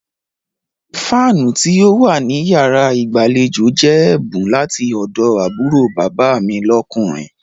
Fáánù tí ó wà ní yàrá ìgbàlejò jẹ́ ẹ̀bùn láti ọ̀dọ̀ àbúrò bàbá mi lọ́kùnrin.